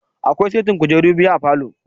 Akwai setin kujure guda biyu a falow